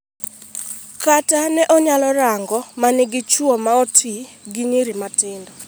"Kata ne anyalo rango ma nigi chuo ma oti gi nyiri matindo.